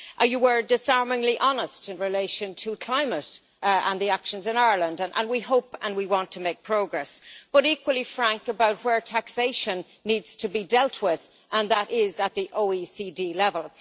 You were disarmingly honest in relation to climate and the actions in Ireland, and we hope and want to make progress. You were equally frank about where taxation needs to be dealt with, and that is at the OECD level.